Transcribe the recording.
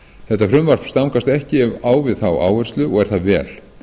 þetta frumvarp stangast ekki á við þá áherslu og er það vel